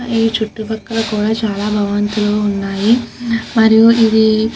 ఈ చుట్టూ పక్కలో కూడా చాల భావంతుల్లు వున్నాయ్. మరియు ఇది --